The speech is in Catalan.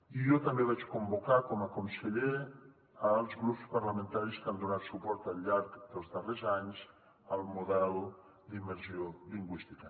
i jo també vaig convocar com a conseller els grups parlamentaris que han donat suport al llarg dels darrers anys al model d’immersió lingüística